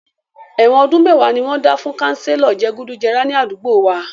Èwọ̀n ọdún mẹ́wàá ni wọ́n dá fún kanselo je gùdù jẹrà ní àdúgbò wa